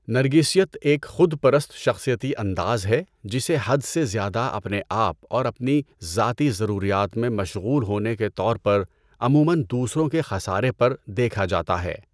نرگسیت ایک خود پرست شخصیتی انداز ہے جسے حد سے زیادہ اپنے آپ اور اپنی ذاتی ضروریات میں مشغول ہونے کے طور پر، عموماً دوسروں کے خسارے پر، دیکھا جاتا ہے۔